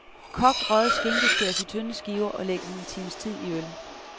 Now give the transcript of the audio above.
Kogt, røget skinke skæres i tynde skiver, og lægges en times tid i øl.